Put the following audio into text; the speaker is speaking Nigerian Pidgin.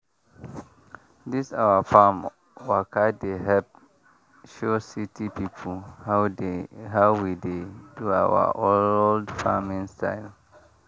this our farm waka dey help show city people how we dey do our old farming style.